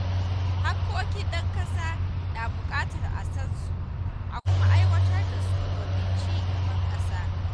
Haƙƙoƙin ɗan ƙasa na buƙatar a san su a kuma aiwatar da su domin ci gaban ƙasa.